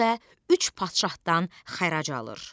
Özü də üç padşahdan xərac alır.